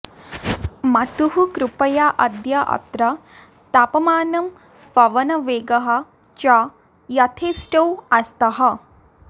मातुः कृपया अद्य अत्र तापमानम् पवनवेगः च यथेष्टौ आस्तः